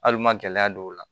Hali n ma gɛlɛya don o la